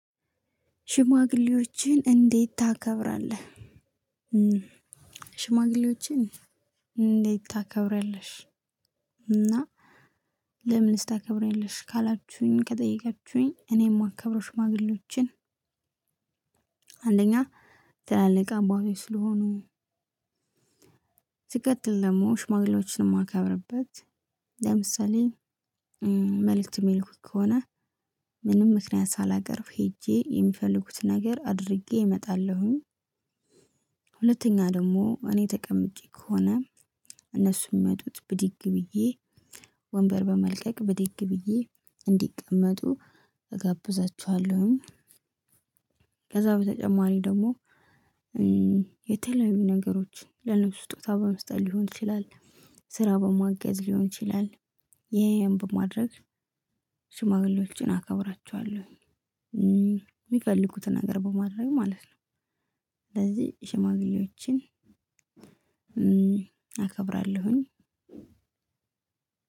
ሽማግሌዎችን እንዴት ታከብራለህ ሽማግሌዎችን እንዴት ታከብሪያለሽ? እና ለምንስ ልታከብሪያለሽ ካላችሁኝ? ከጠየቃችሁኝ እኔ ማከብረው ሽማግሌዎችን አንደኛ ትላልቅ አባቶች ስለሆኑ። ሲቀጥል ደግሞ ሽማግሌዎችን ማከብረበት ለምሳሌ መልእክት የሚልኩኝ ከሆነ ምንም ምክንያት ሳላቀርብ ሄጄ የሚፈልጉትን ነገር አድርጌ እመጣለሁኝ። ሁለተኛ ደግሞ እኔ ተቀምጬ ከሆነ እነሱን ሚመጡት ብድግ ብዬ ወንበር በመልቀቅ ብድግ ብዬ እንዲቀመጡ እጋብዛችኋለሁኝ። ከዛ በተጨማሪ ደግሞ የተለያዩ ነገሮችን ለእነሱ ስጦታ በመስጠት ሊሆን ይችላል ስራ በማገዝ ሊሆን ይችላል። ይሄን በማድረግ ሽማግሌዎችን አከብራቸዋለሁ የሚፈልጉትን ነገር በማድረግ ማለት ነው። ስለዚህ ሽማግሌዎችን አከብራለሁኝ።